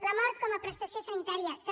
la mort com a prestació sanitària també